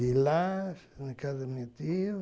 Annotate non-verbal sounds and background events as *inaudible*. *unintelligible* na casa do meu tio.